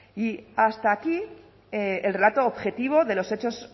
y hasta aquí el relato objetivo de los hechos